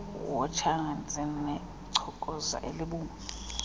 wotshana zinechokoza elibomvu